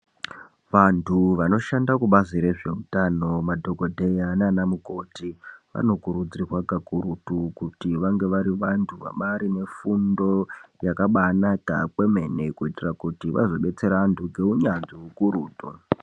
Vanthu vanoshanda kubazi rezveutano madhokodheya naana mukoti vanokurudzirwa kakurutu kuti vange vari vanthu vabaari nefundo yakabaanaka kwemene ,kuitira kuti vazobetsera vanthu ngeunyanzvi ukurutu.